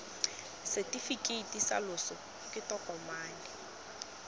setefikeiti sa loso ke tokomane